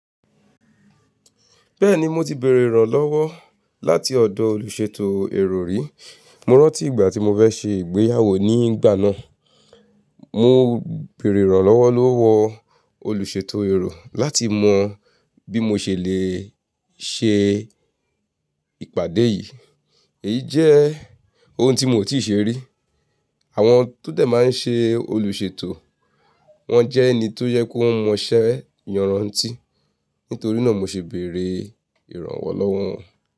Bẹ́ẹ̀ni mo ti bèrè ìrànlọ́wọ́ láti ọ̀dọ̀ olùṣètò èrò rí. Mo rántí ìgbà tí mo fẹ́ ṣe ìgbéyàwó ní ìgbà náà, mo bèrè ìrànlọ́wọ́ lọ́wọ́ olùṣètò èrò láti mọ bí mo ṣe lè ṣe ìpàdé yìí. Èyí jẹ́ ohun tí mo ò tíì ṣe rí. Àwọn tó dẹ̀ máa ń ṣe olùṣètò, wọ́n jẹ́ ẹni tó yẹ kó mọ iṣẹ́ yan rántí. Nítorí náà mo ṣe bèrè ìrànwọ́ lọ́wọ́ wọn.